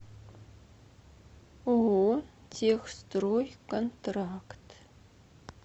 ооо техстройконтракт